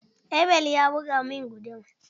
Abel ya buga min guduma.